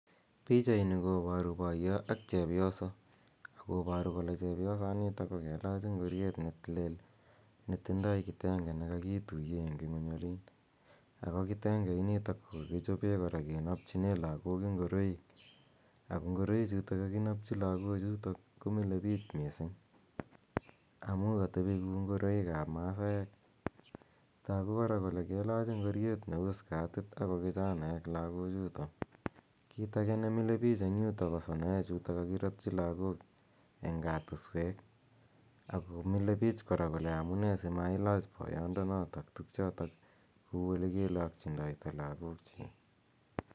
Pichani koparu poyot ak chepyoso. Ako paru kole chepyosanitak ko kelach ngoriet ne lel ne tindai kitenge ne kakituye eng' ing'uny olin, ako kitenge initok ko kakichope kora kenapchine lagok ngoroik, ako ngoroichutok kakinapchi kagook komile piih missing' amu katepi kou ngoroik ap masaek. Tagu kora kole kelach ngoriet ne u skatit ako kichanaek lagochutok. Kit age ne mile piich eng' yutok ko sonoechu kakiratchi eng' katuswek ako mile piich kora amu nee ma si ilach poyondonotok tugchutok kou ole kelakchindaita logook chiik